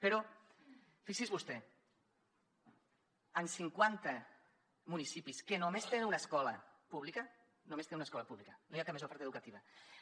però fixi’s vostè en cinquanta municipis que només tenen una escola pública només tenen una escola pública no hi ha més oferta educativa